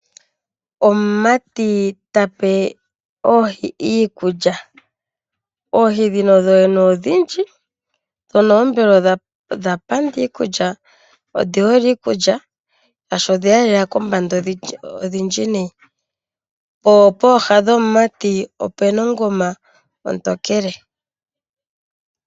Omumati ta pe oohi iikulya. Oohi ndhika odhindji dho mbela odha panda iikulya nodhi hole iikulya, oshoka odhe ya lela kombanda ondhindji noonkondo. Pooha dhomumati opu na ongoma ontokele.